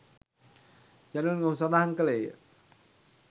" යනුවෙන් ඔහු සඳහන් කළේය.